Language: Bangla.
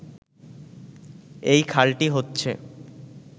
এই খালটি হচ্ছে